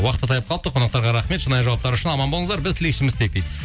уақыт та таяп қалыпты қонақтарға рахмет шынайы жауаптары үшін аман болыңыздар біз тілекшіміз тек дейді